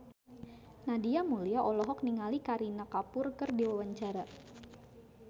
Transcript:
Nadia Mulya olohok ningali Kareena Kapoor keur diwawancara